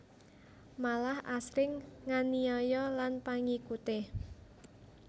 Malah asring nganiaya lan pangikute